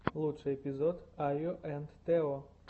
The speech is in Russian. лучший эпизод айо энд тео